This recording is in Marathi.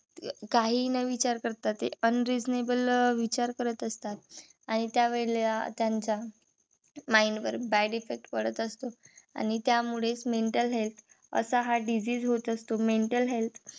काहीही न विचार करता ते unreasonable विचार करत असतात. आणि त्यावेळेला त्यांच्या mind वर bad effect पडत असतो. आणि त्यामुळेच mental health असा हा disease होत असतो. mental health